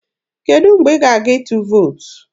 Kedụ mgbe ị ga-aga ịtụ vootu?